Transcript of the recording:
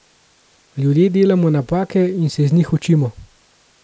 Ljudje delamo napake in se iz njih učimo.